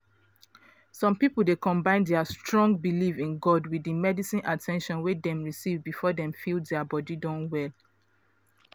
some people dey combine dia strong belief in god with di medical at ten tion wey dem receive before dem feel dia body don well.